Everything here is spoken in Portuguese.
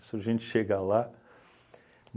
Isso a gente chega lá.